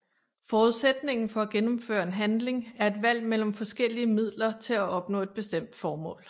Forudsætningen for at gennemføre en handling er et valg mellem forskellige midler til at opnå et bestemt mål